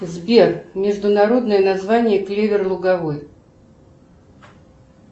сбер международное название клевер луговой